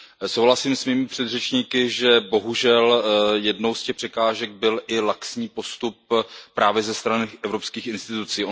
Souhlasím s mými předřečníky, že bohužel jednou z těch překážek byl i laxní postup právě ze strany evropských institucí.